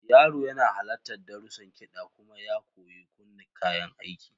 Yaro yana halartar darussan kiɗa kuma ya koyi kunna kayan aiki.